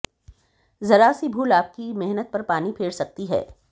जरा सी भूल आपकी मेहनत पर पानी फेर सकती है